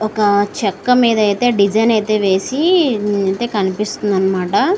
ఒక చెక్క మీద అయితే డిజైన్ ఐతే వేసి కనిపిస్తుందన్నమాట.